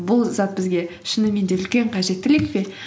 бұл зат бізге шынымен де үлкен қажеттілік пе